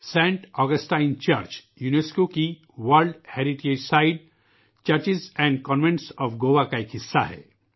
Saint Augustine church UNESCO کی world heritage site ہے جو کہ گوا کے چرچوں اور کانوینٹس کا ایک حصہ ہے